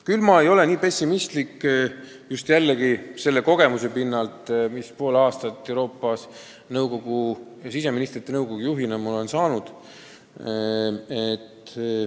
Küll aga ei ole ma nii pessimistlik selle kogemuse pinnalt, mis ma sain poole aasta jooksul Euroopast siseministrite nõukogu juhina.